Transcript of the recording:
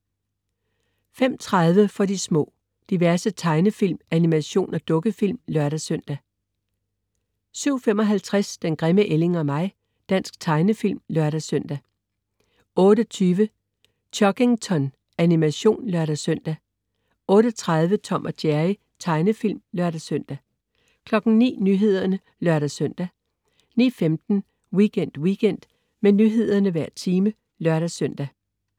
05.30 For de små. Diverse tegnefilm, animation og dukkefilm (lør-søn) 07.55 Den grimme ælling og mig. Dansk tegnefilm (lør-søn) 08.20 Chuggington. Animation (lør-søn) 08.30 Tom & Jerry. Tegnefilm (lør-søn) 09.00 Nyhederne (lør-søn) 09.15 Weekend Weekend. Med nyhederne hver time (lør-søn)